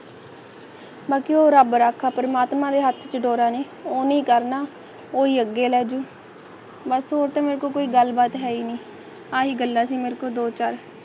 ਬਾਕੀ ਉਹ ਰੱਬ ਰਾਖਾ ਪਰਮਾਤਮਾ ਦੇ ਹੱਥ ਡੋਰਾ ਨੇ ਉਹੀ ਕਰਨਾ ਹੀ ਅੱਗੇ ਲੈ ਜਾਉ ਮਸ਼ਹੂਰ ਤੇ ਮਕਬੂਲ ਗੱਲ ਬਾਤ ਹੈ ਅਹਿ ਹੈ ਗੱਲਾਂ ਸੀ ਮੇਰੇ ਕੋਲ ਦੋ ਚਾਰ